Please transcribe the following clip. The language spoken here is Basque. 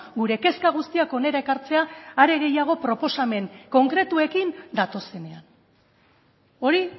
gure kezka guztiak hona ekartzea are gehiago proposamen konkretuekin datozenean hori